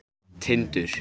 Tindur